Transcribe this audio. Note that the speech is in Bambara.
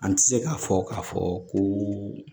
An ti se k'a fɔ k'a fɔ ko